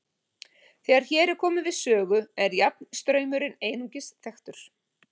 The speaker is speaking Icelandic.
Þegar hér er komið við sögu er jafnstraumurinn einungis þekktur.